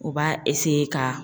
U b'a ka